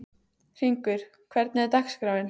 Hringur, hvernig er dagskráin?